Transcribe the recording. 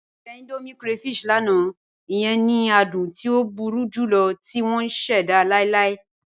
Mọ jẹ̀ Indomie crayfish lánà, iyẹn ni àdùn tí o búru julọ̀ tì wọn ṣẹda láìláì.